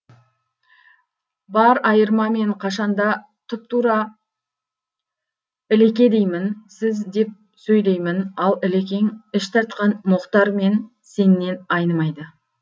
бар айырма мен қашанда тұпа тура ілеке деймін сіз деп сөйлеймін ал ілекең іш тартқан мұхтар мен сеннен айнымайды